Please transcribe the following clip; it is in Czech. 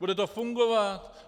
Bude to fungovat.